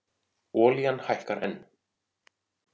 Olían hækkar enn